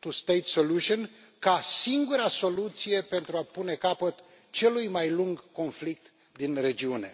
two state solution ca singura soluție pentru a pune capăt celui mai lung conflict din regiune.